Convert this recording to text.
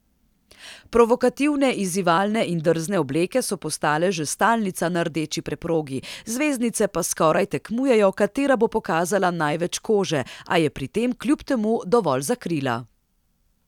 Provokativne, izzivalne in drzne obleke so postale že stalnica na rdeči preprogi, zvezdnice pa skoraj tekmujejo, katera bo pokazala največ kože, a je pri tem kljub temu dovolj zakrila.